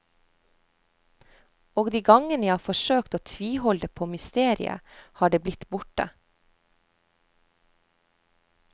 Og de gangene jeg har forsøkt å tviholde på mysteriet, har det blitt borte.